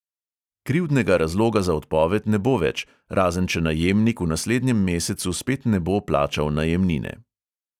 Krivdnega razloga za odpoved ne bo več, razen če najemnik v naslednjem mesecu spet ne bo plačal najemnine.